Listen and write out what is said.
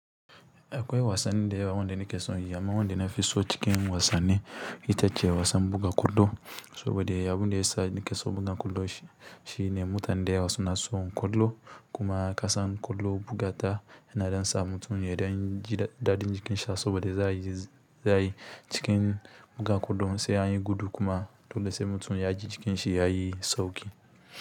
Akwai wasanni da yawa wanda ne ke son yi, amma wanda nafi so cikin wasanni ita ce wasan buga ƙwallo. Saboda ya abunda ya sa ni ke so buga ƙwallo shi ne mutane da yawa suna so ƙwallo kuma kasan ƙwallo bugata yana ɗansa mutum ya ɗanji daɗin jikin sa saboda zai zizzi za ayi yi cikin buga ƙwallon sai anyi gudu kuma dole sai mutum ya ji jikin shi ya yi sauƙi.